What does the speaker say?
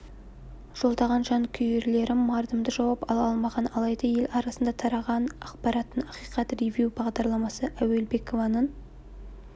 жолдаған жанкүйлерлері мардымды жауап ала алмаған алайда ел арасындағы тараған ақпараттың ақиқатын ревю бағдарламасы әуелбекованың